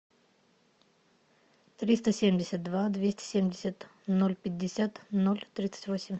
триста семьдесят два двести семьдесят ноль пятьдесят ноль тридцать восемь